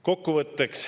Kokkuvõtteks.